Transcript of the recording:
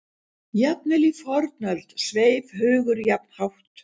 Jafnvel í fornöld sveif hugur jafn hátt.